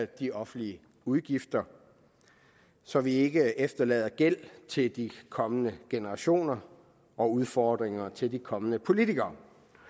de offentlige udgifter så vi ikke efterlader gæld til de kommende generationer og udfordringer til de kommende politikere